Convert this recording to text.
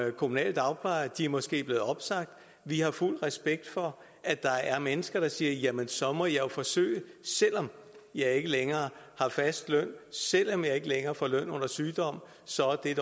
kommunale dagplejere de er måske blevet opsagt vi har fuld respekt for at der er mennesker der siger så må jeg jo forsøge selv om jeg ikke længere har fast løn selv om jeg ikke længere får løn under sygdom så er